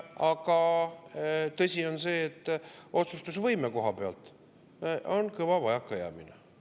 Aga tõsi on see, et otsustusvõime kohapealt on kõva vajakajäämine.